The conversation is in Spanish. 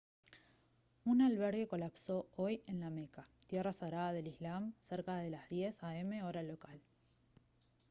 un albergue colapsó hoy en la meca tierra sagrada del islam cerca de las 10:00 a m hora local